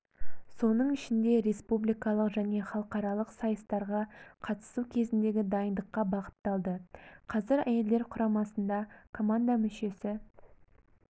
соның ішінде республикалық және халықаралық сайыстарға қатысу кезіндегі дайындыққа бағытталды қазір әйелдер құрамасында команда мүшесі